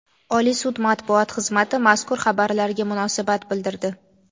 Oliy sud matbuot xizmati mazkur xabarlarga munosabat bildirdi.